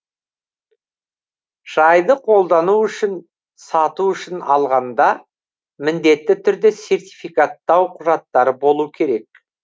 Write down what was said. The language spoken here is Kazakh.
шайды қолдану үшін сату үшін алғанда міндетті түрде сертификаттау құжаттары болу керек